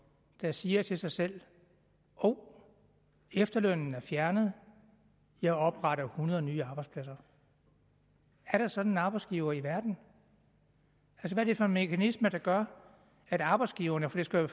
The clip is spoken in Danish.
der siger til sig selv hov efterlønnen er blevet fjernet jeg opretter hundrede nye arbejdspladser er der sådan en arbejdsgiver i verden hvad er det for en mekanisme der gør at arbejdsgiverne og det skal jo